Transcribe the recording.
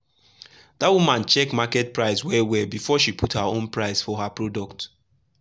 that woman check market price well well before she put her own price for her product.